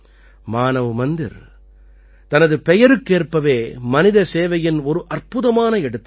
மானவ் மந்திர் தனது பெயருக்கேற்பவே மனித சேவையின் ஒரு அற்புதமான எடுத்துக்காட்டு